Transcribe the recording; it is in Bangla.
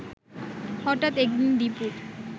হঠাৎ একদিন দীপুর